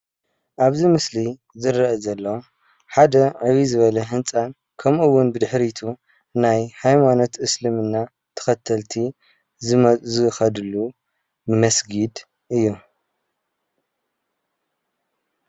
ኣብዚ ምስሊ ዝረአ ዘሎ ሓደ ዕብይ ዝበለ ህንጻን ከምኡ እዉን ብድሕሪቱ ናይ ሃይማኖት እስልምና ተኸተልቲ ዝኸድሉ መስጊድ እዩ::